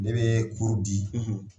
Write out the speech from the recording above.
Ne be di